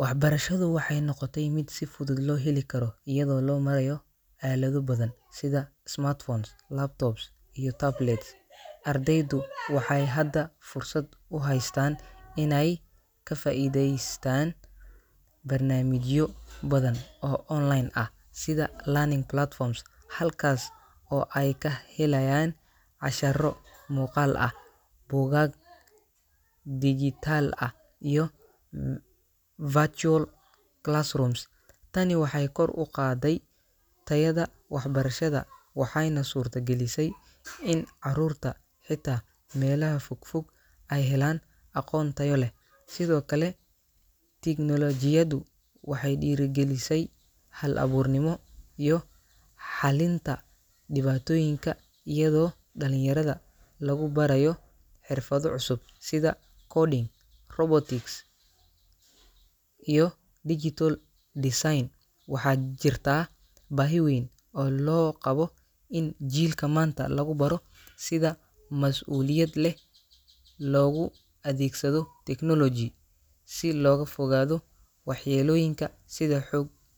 Waxbarashadu waxay noqotay mid si fudud loo heli karo iyadoo loo marayo aalado badan sida smartphones, laptops, iyo tablets. Ardaydu waxay hadda fursad u haystaan inay ka faa’iidaystaan barnaamijyo badan oo online ah sida e-learning platforms, halkaas oo ay ka helayaan casharro muuqaal ah, buugaag dijitaal ah iyo virtual classrooms. Tani waxay kor u qaadday tayada waxbarashada waxayna suurtagelisay in carruurta xitaa meelaha fogfog ay helaan aqoon tayo leh. Sidoo kale, tignoolajiyadu waxay dhiirrigelisay hal-abuurnimo iyo xallinta dhibaatooyinka iyadoo dhalinyarada lagu barayo xirfado cusub sida coding, robotics, iyo digital design. Waxaa jirta baahi weyn oo loo qabo in jiilka maanta lagu baro sida mas’uuliyad leh loogu adeegsado technology si looga fogaado waxyeellooyinka sida xog .